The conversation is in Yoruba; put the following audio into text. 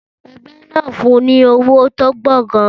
Ẹgbẹ́ náà fun ní owó tó pọ̀ gan-an.